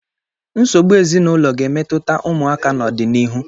Nsogbu ezinụlọ ga-emetụta ụmụaka n'ọdịnihu.